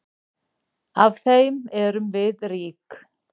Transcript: Af þeim erum við rík.